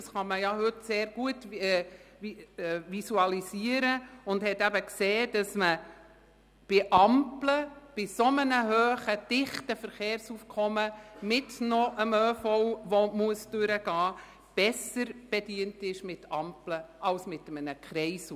Man kann das heute sehr gut visualisieren und hat festgestellt, dass man mit einem so hohen und dichten Verkehrsaufkommen und zusätzlich dem ÖV, der durchgeschleust werden muss, mit Ampeln besser bedient ist als mit einem Kreisel.